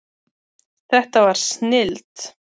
Þetta var snilld.